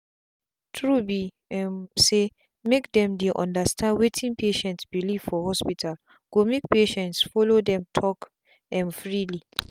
true be um saymake them dey understand wetin patient belief for the hospitalgo make patients follow them talk um freely.